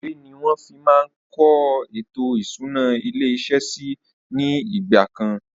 Ìwé ni wọn fi máa ń kọ ètò ìṣúná ilé iṣẹ́ síí ni ìgbàkan